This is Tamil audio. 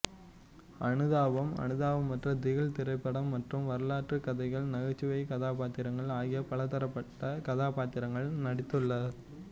அனுதாபம் அனுதாபமற்ற திகில் திரைப்படம் மற்றும் வரலாற்று கதைகள் நகைச்சுவைக் கதாப்பாத்திரம் ஆகிய பலதரப்பட்ட கதாப்பத்திரங்களில் நடித்துள்ளார்